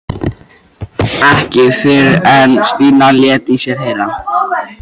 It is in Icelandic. Ekki fyrr en Stína lét í sér heyra.